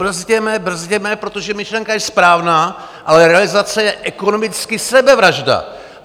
Brzděme, brzděme, protože myšlenka je správná, ale realizace je ekonomicky sebevražda.